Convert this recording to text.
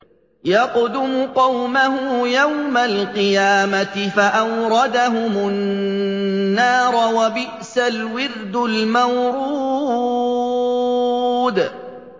يَقْدُمُ قَوْمَهُ يَوْمَ الْقِيَامَةِ فَأَوْرَدَهُمُ النَّارَ ۖ وَبِئْسَ الْوِرْدُ الْمَوْرُودُ